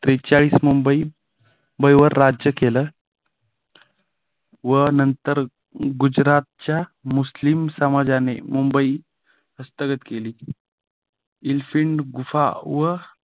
त्रेचाळीस मुंबईवर राज्य केलं व नंतर गुजरातच्या मुस्लिम समाजाने मुंबई हस्तगत केले. एलिफंट गुफा